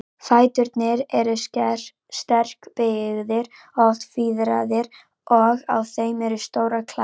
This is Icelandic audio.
Fæturnir eru sterkbyggðir, oft fiðraðir, og á þeim eru stórar klær.